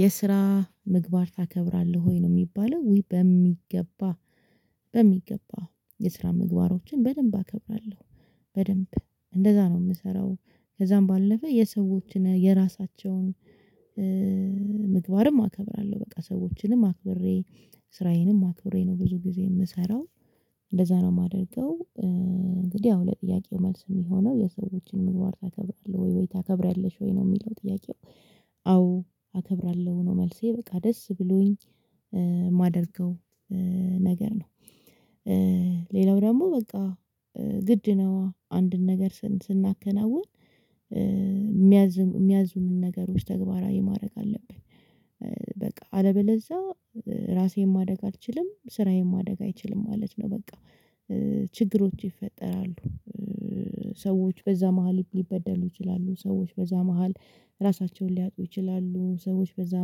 የስራ ምግባር ታከብራለህ ወይ? ነው የሚባለው ውይ በሚገባ በሚገባ የስራ ምግባሮችን በደንብ አከብራለሁ። በደንብ እንደዛ ነው የምሰራው ከዛም ባለፈ የሰዎችን የራሳቸውን። ምግባርም አከብራለሁ በቃ ሰዎችንም አክብሬ ስራዬንም አክብሬ ነው ብዙ ጊዜ የምሰራው። እንደዛ ነው የማደርገው እንግዲህ ያው ለጥያቄው መልስ የሚሆነው የሰዎችን ምግባር ታከብራለህ ወይ ወይ ታከብሪያለሽ ወይ ነው የሚለው ጥያቄው አዎ አከብራለሁ ነው መልሴ በቃ ደስ ብሎኝ የማደርገው። ነገር ነው። ሌላው ደግሞ በቃ ግድ ነው አንድን ነገር ስናከናውን የሚያዝም የሚያዙንን ነገሮች ተግባራዊ ማድረግ አለብን። በቃ አለበለዛ ራሴን ማደግ አልችልም ስራዬን ማደግ አይችልም ማለት ነው። በቃ ችግሮች ይፈጠራሉ። ሰዎች በዛ መሃል ሊበደሉ ይችላሉ ሰዎች በዛ መሃል ራሳቸውን ሊያጡ ይችላሉ። ሰዎች በዛ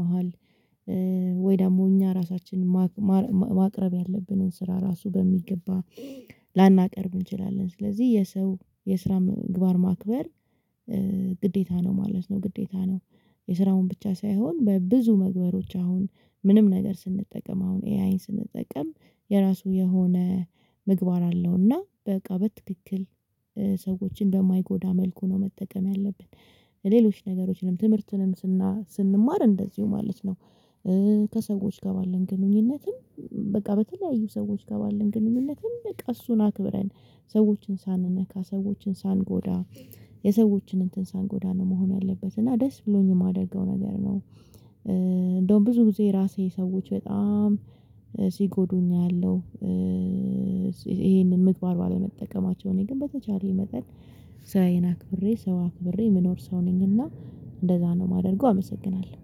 መሃል ወይ ደግሞ እኛ ራሳችንን ማቅረብ ያለብንን ስራ ራሱ በሚገባ ላናቀርብ እንችላለን። ስለዚህ የሰው የስራ ምግባር ማክበር ግዴታ ነው ማለት ነው ግዴታ ነው። የስራውን ብቻ ሳይሆን በብዙ መግበሮች አሁን ምንም ነገር ስንጠቀም አሁን ኤአይን ስንጠቀም የራሱ የሆነ ምግባር አለውና በቃ በትክክል ሰዎችን እንደማይጎዳ መልኩ ነው መጠቀም ያለብን። ሌሎች ነገሮችንም ትምህርትንም ስና ስንማር እንደዚሁ ማለት ነው። ከሰዎች ጋር ባለን ግንኙነትም በቃ በተለያዩ ሰዎች ጋር ባለን ግንኙነትም በቃ እሱን አክብረን ሰዎችን ሳንነካ ሰዎችን ሳንጎዳ የሰዎችን እንትን ሳንጎዳ ነው መሆን ያለበት እና ደስ ብሎኝ የማደርገው ነገር ነው። እንደውም ብዙ ብዙ ራሴ ሰዎች በጣም ሲጎዱኝ ያለው። ይሄንን ምግባር ባለመጠቀማቸው እኔ ግን በተቻለኝ መጠን ስራዬን አክብሬ ሰውን አክብሬ የምኖር ሰው ነኝ። እና እንደዛ ነው የማደርገው አመሰግናለሁ